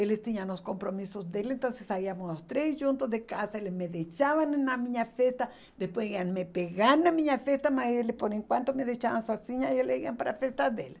Eles tinham os compromissos dele, então saíamos os três juntos de casa, eles me deixavam em na minha festa, depois iam me pegar na minha festa, mas eles por enquanto me deixavam sozinha e eles iam para a festa deles.